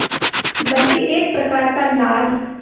बल्कि एक प्रकार का लाल